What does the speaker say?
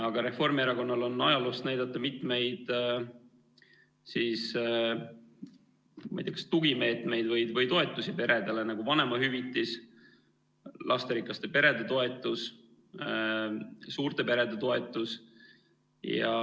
Aga Reformierakonnal on ajaloost näidata mitmeid kas tugimeetmeid või toetusi peredele, nagu vanemahüvitis, lasterikaste perede toetus, suurte perede toetus.